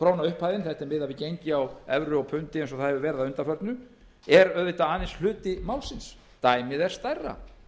upphæðin þetta er miðað við gengi á evru og pundi eins og það hefur verið að undanförnu er auðvitað aðeins hluti málsins dæmið er stærra